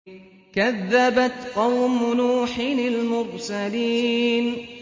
كَذَّبَتْ قَوْمُ نُوحٍ الْمُرْسَلِينَ